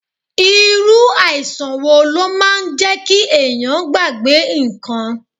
Irú àìsàn wo ló máa ń jẹ kí ẹ̀yàn gbàgbé ǹkan?